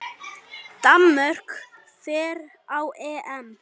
Danmörk fer á EM.